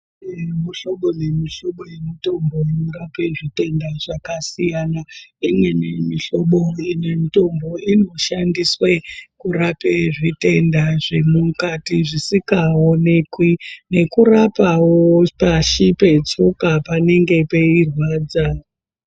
Mihlobo nemihlobo yemitombo inorapa zvitenda zvakasiyana imweni mihlobo yemitombo inorapa zvitenda zvemukati zvisingaonekwi nekurapawo pashi petsoka panenge peirwadza.